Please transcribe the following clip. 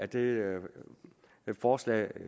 det forslag